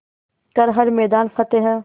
कर हर मैदान फ़तेह